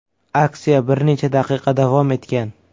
Aksiya bir necha daqiqa davom etgan.